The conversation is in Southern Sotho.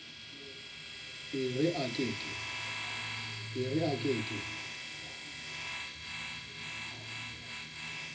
e re a ke ke